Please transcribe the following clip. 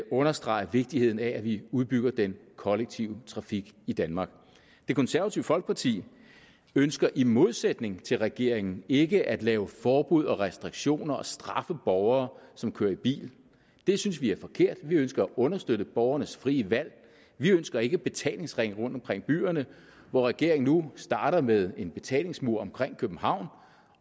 understrege vigtigheden af at vi udbygger den kollektive trafik i danmark det konservative folkeparti ønsker i modsætning til regeringen ikke at lave forbud og restriktioner og straffe borgere som kører i bil det synes vi er forkert vi ønsker at understøtte borgernes frie valg vi ønsker ikke betalingsringe rundt omkring byerne regeringen starter nu med en betalingsmur omkring københavn